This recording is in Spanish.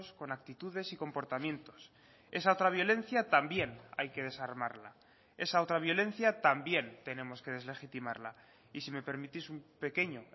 con actitudes y comportamientos esa otra violencia también hay que desarmarla esa otra violencia también tenemos que deslegitimarla y si me permitís un pequeño